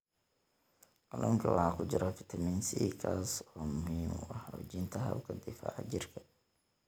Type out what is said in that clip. Kalluunka waxaa ku jira fitamiin C, kaas oo muhiim u ah xoojinta habka difaaca jirka.